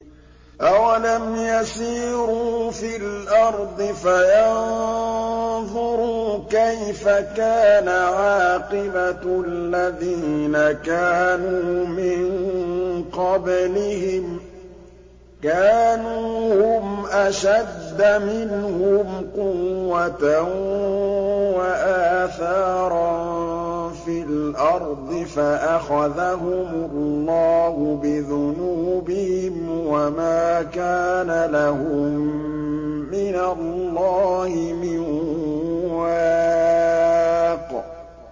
۞ أَوَلَمْ يَسِيرُوا فِي الْأَرْضِ فَيَنظُرُوا كَيْفَ كَانَ عَاقِبَةُ الَّذِينَ كَانُوا مِن قَبْلِهِمْ ۚ كَانُوا هُمْ أَشَدَّ مِنْهُمْ قُوَّةً وَآثَارًا فِي الْأَرْضِ فَأَخَذَهُمُ اللَّهُ بِذُنُوبِهِمْ وَمَا كَانَ لَهُم مِّنَ اللَّهِ مِن وَاقٍ